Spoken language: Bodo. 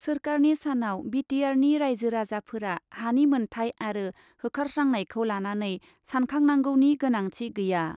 सोरखारनि सानाव बि टि आरनि राइजो राजाफोरा हानि मोन्थाय आरो होखारस्रांनायखौ लानानै सानखांनांगौनि गोनांथि गैया।